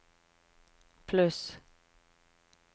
pluss